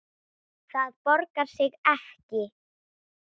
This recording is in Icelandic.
Það borgar sig ekki